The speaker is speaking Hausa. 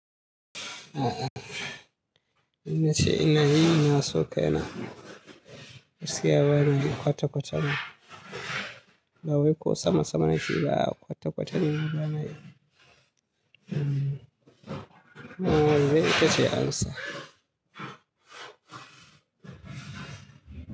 A'a, idan na ce ina yi nasokaina gaskiya banayi kwata-kwata ma. Ba wai ko sama-sama nakeba a a kwata-kwata nema bana yi wannan dai ita ce amsa?